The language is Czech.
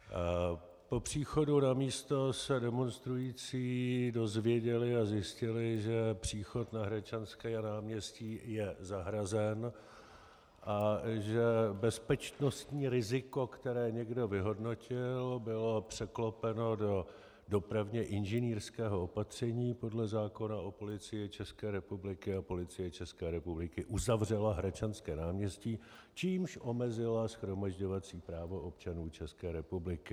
Po příchodu na místo se demonstrující dozvěděli a zjistili, že příchod na Hradčanské náměstí je zahrazen a že bezpečnostní riziko, které někdo vyhodnotil, bylo překlopeno do dopravně inženýrského opatření podle zákona o Policii České republiky a Policie České republiky uzavřela Hradčanské náměstí, čímž omezila shromažďovací právo občanů České republiky.